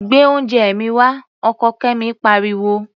Gbé oúnjẹ mi wá! Ọkọ Kẹ́mi pariwo.